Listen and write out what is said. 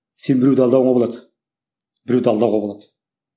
сен біреуді алдауға болады біреуді алдауға болады